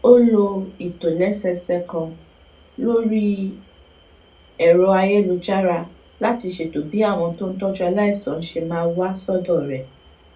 ó lo ìtòlésẹẹsẹ kan lórí ẹrọayélujára láti ṣètò bí àwọn tó ń tójú aláìsàn ṣe máa wá sódò rè